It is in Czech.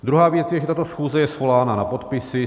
Druhá věc je, že tato schůze je svolána na podpisy.